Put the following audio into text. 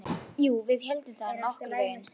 Jú, við héldum það, nokkurn veginn.